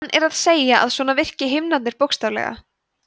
hann er að segja að svona virki himnarnir bókstaflega